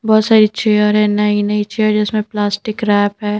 बहोत सारी चेयर है नई-नई चेयर जिसमें प्लास्टिक रैप है।